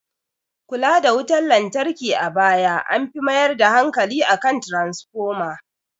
Kula da wutar lantarki a baya an fi mayar da hankali kan tranafoma